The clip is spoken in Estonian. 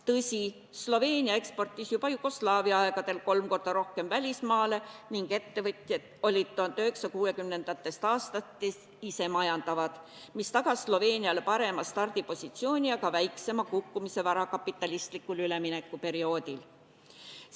Tõsi, Sloveenia eksportis juba Jugoslaavia aegadel kolm korda rohkem välismaale ning ettevõtjad olid 1960. aastatest isemajandavad, mis tagas Sloveeniale parema stardipositsiooni ja ka väiksema kukkumise varakapitalistlikul üleminekuperioodil.